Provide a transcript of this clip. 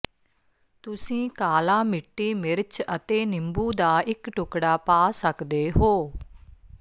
ਤੁਸੀਂ ਕਾਲਾ ਮਿੱਟੀ ਮਿਰਚ ਅਤੇ ਨਿੰਬੂ ਦਾ ਇਕ ਟੁਕੜਾ ਪਾ ਸਕਦੇ ਹੋ